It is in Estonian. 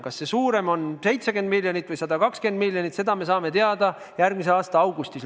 Kas see "suurem" on 70 miljonit või 120 miljonit, seda me saame laias laastus teada järgmise aasta augustis.